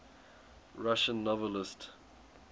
russian novelists